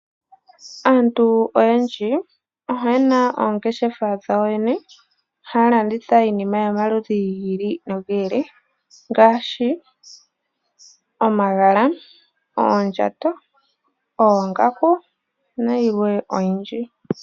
Aantu oyendji oye na oongeshefa dhawo yoyene, haya landitha iinima yomaludhi gi ili nogi ili ngaashi omagala, oondjato, oongaku nayilwe oyindji.